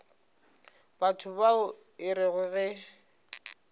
batho bao e rego ge